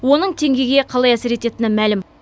оның теңгеге қалай әсер ететіні мәлім